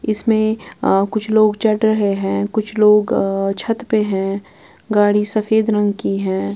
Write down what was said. इसमें कुछ लोग चढ़ रहे हैं कुछ लोग छत पे हैं गाड़ी सफेद रंग की है।